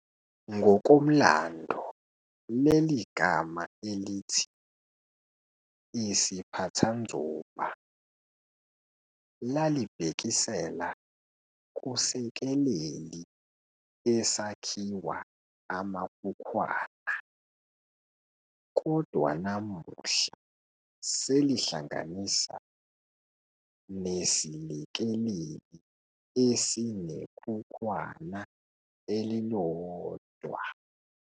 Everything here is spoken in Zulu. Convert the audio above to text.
Ngokomlando leligama elithi "isiphathanzuba" lalibhekisela kusekeleli esakhiwa amakhukhwana, kodwa namuhla selihlanganisa nesilekeleli esinekhukhwana elilodwa.